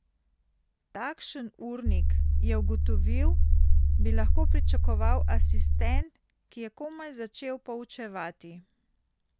Takšen urnik, je ugotovil, bi lahko pričakoval asistent, ki je komaj začel poučevati.